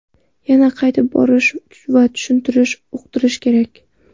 Yana qaytib borish va tushuntirish, uqdirish kerak.